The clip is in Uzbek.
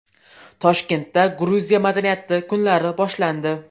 Toshkentda Gruziya madaniyati kunlari boshlandi.